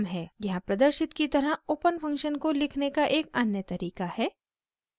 यहाँ प्रदर्शित की तरह ओपन फंक्शन को लिखने का एक अन्य तरीका है